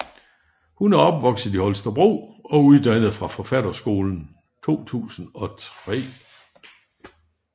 Hun er opvokset i Holstebro og uddannet fra Forfatterskolen 2003